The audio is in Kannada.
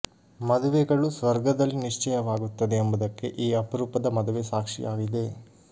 ಮದುವೆಗಳು ಸ್ವರ್ಗ ದಲ್ಲಿ ನಿಶ್ಚಯವಾಗುತ್ತದೆ ಎಂಬುದಕ್ಕೆ ಈ ಅಪರೂಪದ ಮದುವೆ ಸಾಕ್ಷಿಯಾಗಿದೆ